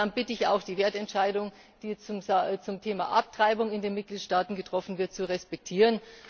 Aber dann bitte ich auch, die Wertentscheidung, die zum Thema Abtreibung in den Mitgliedstaaten getroffen wird, zu respektieren.